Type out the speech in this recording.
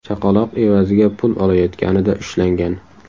chaqaloq evaziga pul olayotganida ushlangan.